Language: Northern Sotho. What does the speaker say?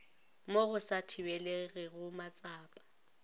mo go sa thibelegego matsapa